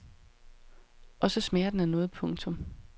Og så smager den af noget. punktum